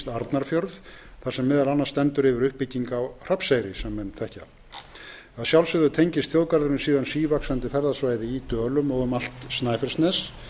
arnarfjörð þar sem meðal annars stendur yfir uppbygging á hrafnseyri að sjálfsögðu tengist þjóðgarðurinn síðan sívaxandi ferðasvæði í dölum og um allt snæfellsnes